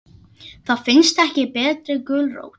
Það finnst ekki betri gulrót.